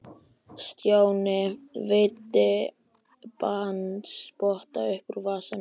Stjáni veiddi bandspotta upp úr vasanum.